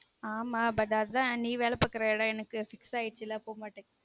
ஆமா but அதான் நீ வேல பாக்குற எடம் எனக்கு fix ஆயருசுல போமாட்டன்